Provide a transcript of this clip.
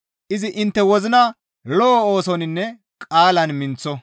izi intte wozina lo7o oosoninne qaalan minththo.